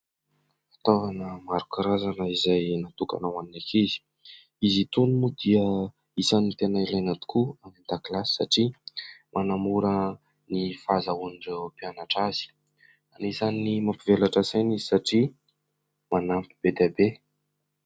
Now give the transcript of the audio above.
Fitaovana maro karazana izay natokana ho an'ny akizy. Izy itony moa dia isany tena ilaina tokoa any an-dakilasy satria manamora ny fahazahoan'ireo mpianatra azy. Anisany mampivelatra saina izy satria manampy be dia be.